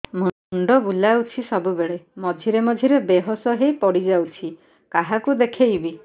ମୁଣ୍ଡ ବୁଲାଉଛି ସବୁବେଳେ ମଝିରେ ମଝିରେ ବେହୋସ ହେଇ ପଡିଯାଉଛି କାହାକୁ ଦେଖେଇବି